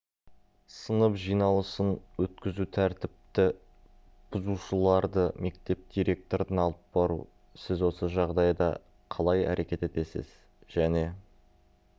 сынып жиналысын өткізу тәртіпті бұзушыларды мектеп директорына алып бару сіз осы жағдайда қалай әрекет етесіз және